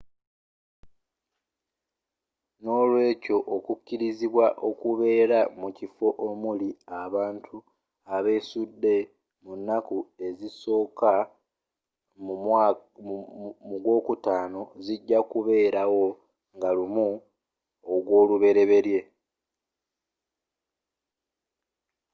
nolweekyo okukirizibwa okubeera mukifo omuli abantu abesudde mu naku ezisooka mugw'okutaano zijja kubeelawo nga 1 ogw'oluberyeberye